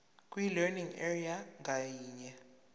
kwilearning area ngayinye